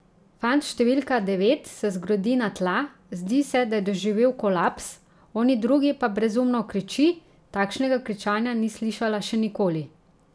Fant številka devet se zgrudi na tla, zdi se, da je doživel kolaps, oni drugi pa brezumno kriči, takšnega kričanja ni slišala še nikoli.